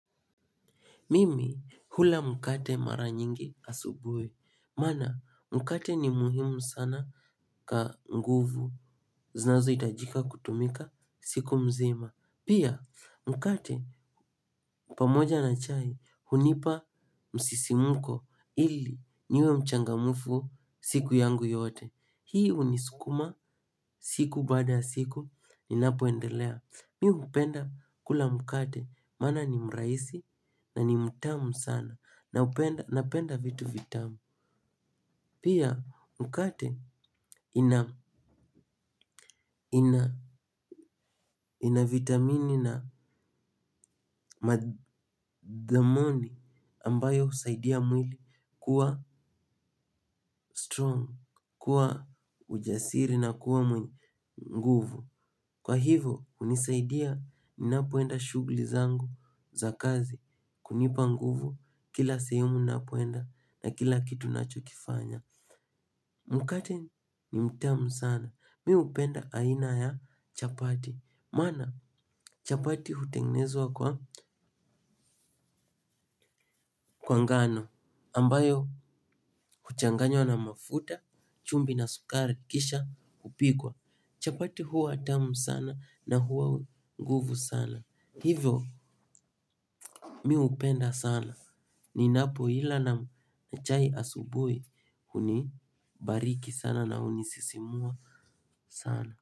Mimi hula mkate mara nyingi asubui. Maana mkate ni muhimu sana ka nguvu zinazohitajika kutumika siku mzima. Pia mkate pamoja na chai hunipa msisimuko ili niwe mchangamufu siku yangu yote. Hii unisukuma siku baada siku ninapoendelea. Mi hupenda kula mkate maana ni mraisi na ni mtamu sana. Napenda vitu vitamu. Pia mkate ina vitamini na madhamoni ambayo husaidia mwili kuwa strong. Kuwa ujasiri na kuwa mwenye nguvu. Kwa hivo unisaidia ninapoenda shughli zangu za kazi. Kunipa nguvu kila sehemu ninapoenda na kila kitu ninachokifanya. Mkate ni mtamu sana. Mi upenda aina ya chapati. Maana chapati hutengenezwa kwa kwa ngano ambayo huchanganywa na mafuta, chumvi na sukari kisha kupikwa. Chapati huwa tamu sana na huwa nguvu sana. Hivyo mi upenda sana. Ninapoila na chai asubui hunibariki sana na hunisisimua sana.